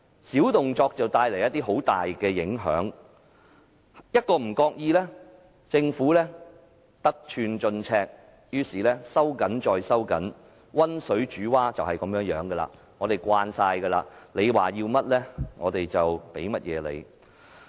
小動作帶來大影響，一不小心政府便會得寸進尺，收緊再收緊，溫水煮蛙便是如此，我們早已習慣，他們要甚麼，我們便提供甚麼。